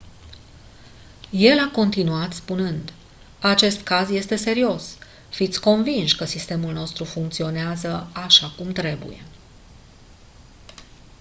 el a continuat spunând: «acest caz este serios. fiți convinși că sistemul nostru funcționează așa cum trebuie.».